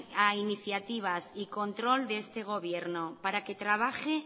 a iniciativas y control de este gobierno para que trabaje